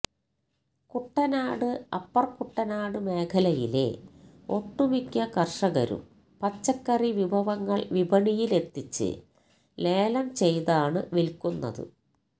Kuttanad upper Kuttanad മേഖലയിലെ ഒട്ടുമിക്ക കര്ഷകരും പച്ചക്കറി വിഭവങ്ങള് വിപണിയില് എത്തിച്ച് ലേലം ചെയ്താണ് വില്ക്കുന്നത്